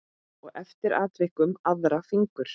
Og eftir atvikum aðra fingur.